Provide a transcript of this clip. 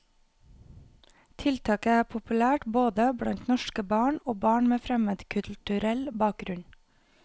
Tiltaket er populært både blant norske barn og barn med fremmedkulturell bakgrunn.